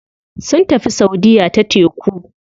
Sun tafi saudiya ta teku.